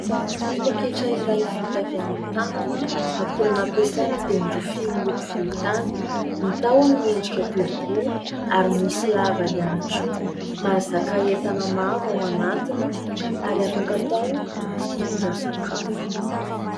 Poaketra iray vita avy amin'ny tanana akora nampiasaina dia ny rofia miloko volontany. Ny tahony miendrika boribory ary misy lava ihany koa. Mahazaka entana maro ao anatiny ary afaka hatao fitondra sakafo.